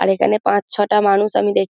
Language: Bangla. আর এখানে পাঁচ-ছয়টা মানুষ আমি দেখি।